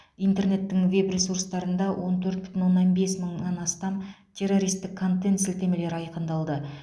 интернеттің веб ресурсында он төрт бүтін оннан бес мыңнан астам террористік контент сілтемелері айқындалды